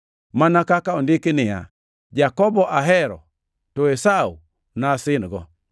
Mana kaka ondiki niya, “Jakobo ahero, to Esau nasin-go.” + 9:13 \+xt Mal 1:2,3\+xt*